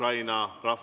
Aitäh teile!